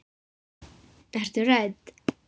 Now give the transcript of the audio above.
Ertu hrædd?